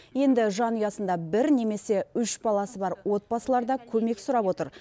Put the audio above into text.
енді жанұясында бір немесе үш баласы бар отбасылар да көмек сұрап отыр